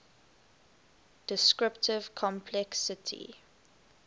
descriptive complexity